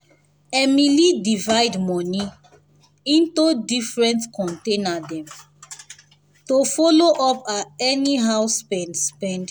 emily divide money into different container dem to follow up her anyhow spend spend